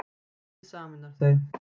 Skeggið sameinar þau